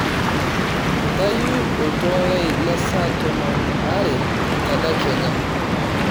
ntayu oltuala lai lesaa tomon aare tedekenya